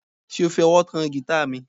Ṣe o fi ọwọ kan gita mi?